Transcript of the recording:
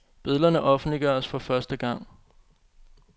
Billederne offentliggøres for første gang.